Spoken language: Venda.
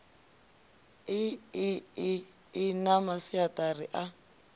iḽi ḽi na masiaṱari a